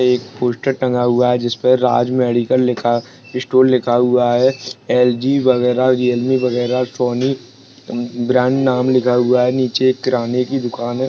एक पूस्टर टंगा हुआ है जिसपे राज मेडिकल लिखा स्टोर लिखा हुआ है एल.जी. वगेरा रियलमी वगैरह सोनी म ब्रांड नाम लिखा हुआ है नीचे एक किराने की दुकान है।